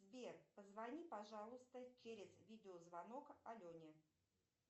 сбер позвони пожалуйста через видеозвонок алене